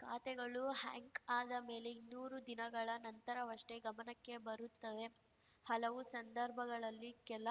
ಖಾತೆಗಳು ಹ್ಯಾಕ್‌ ಆದ ಮೇಲೆ ಇನ್ನೂರು ದಿನಗಳ ನಂತರವಷ್ಟೇ ಗಮನಕ್ಕೆ ಬರುತ್ತವೆ ಹಲವು ಸಂದರ್ಭಗಳಲ್ಲಿ ಕೆಲ